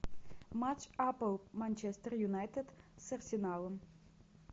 матч апл манчестер юнайтед с арсеналом